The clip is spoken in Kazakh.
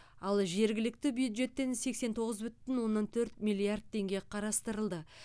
ал жергілікті бюджеттен сексен тоғыз бүтін оннан төрт миллиард теңге қарастырылды